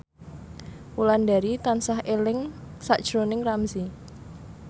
Wulandari tansah eling sakjroning Ramzy